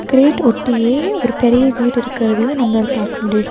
Great ஒட்டியே ஒரு பெரிய வீடு இருக்கிறதையு நம்மளால பாக்க முடியிது.